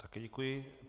Také děkuji.